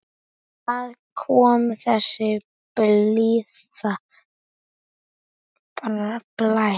Hvaðan kom þessi blíði blær?